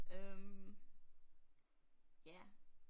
Øh ja